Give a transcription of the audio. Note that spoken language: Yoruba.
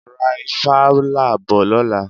Ra ifala bọ̀ lọ́la.